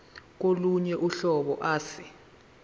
kolunye uhlobo ase